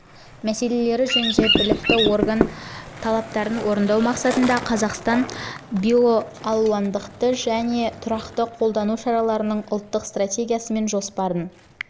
мәселелері жөніндегі білікті орган жылы талаптарын орындау мақсатында қазақстан биоралуандылықты сақтау және тұрақты қолдану шараларының ұлттық стратегиясы мен жоспарын